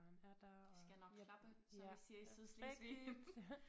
Det skal nok klappe som vi siger i Sydslesvig